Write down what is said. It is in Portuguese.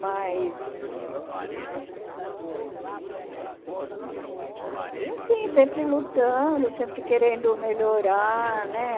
Mas... E assim, sempre lutando, sempre querendo melhorar, né?